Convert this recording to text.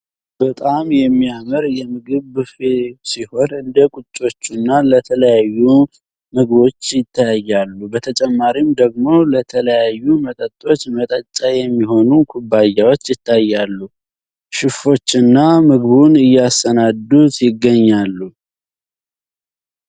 በጣም የሚያምር የምግብ ቡፌ ሲሆን እንደ ቁጮቹና ለተለያዩ ምግቦች ይታያሉ በተጨማሪም ደግሞ ለተለያዩ መጠጦች መጠጫ የሚሆኑ ኩባያዎች ይታያሉ። ሽፎችን ምግቡን እያሰናዱት ይገኛሉ።